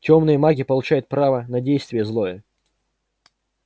тёмные маги получают право на действие злое